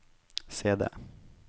CD